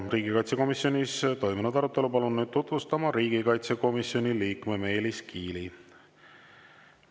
Riigikaitsekomisjonis toimunud arutelu palun nüüd tutvustama riigikaitsekomisjoni liikme Meelis Kiili.